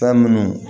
Fɛn minnu